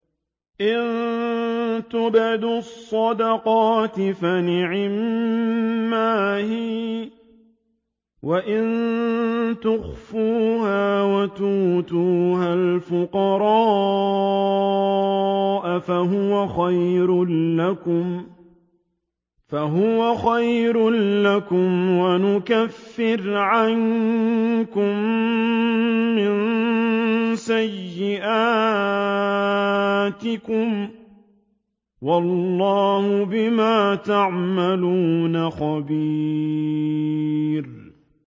إِن تُبْدُوا الصَّدَقَاتِ فَنِعِمَّا هِيَ ۖ وَإِن تُخْفُوهَا وَتُؤْتُوهَا الْفُقَرَاءَ فَهُوَ خَيْرٌ لَّكُمْ ۚ وَيُكَفِّرُ عَنكُم مِّن سَيِّئَاتِكُمْ ۗ وَاللَّهُ بِمَا تَعْمَلُونَ خَبِيرٌ